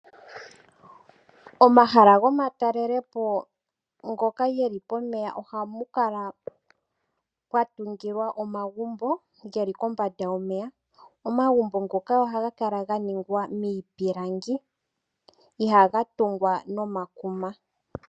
Omahala go matalelepo ngoka geli pomeya, ohapu kala pwa tungilwa omagumbo geli kombanda yomeya. Omagumbo ngoka ohaga kala ga ningwa niipilangi, ihaga tungwa no makuma.